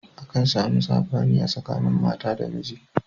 Akan samu saɓani a tsakanin mata da miji.